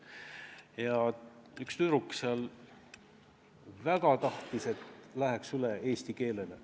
Ja üks tüdruk väga tahtis, et mindaks üle eesti keelele.